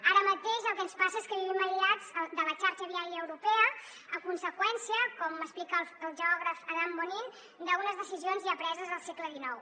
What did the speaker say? ara mateix el que ens passa és que vivim aïllats de la xarxa viària europea a conseqüència com explica el geògraf adam bonnín d’unes decisions ja preses al segle xix